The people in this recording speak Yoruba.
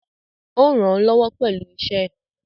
Ó rànán lọ́wọ́ pẹ̀lú iṣẹ́ ẹ̀.